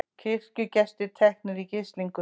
Kirkjugestir teknir í gíslingu